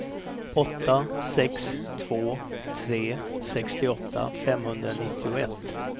åtta sex två tre sextioåtta femhundranittioett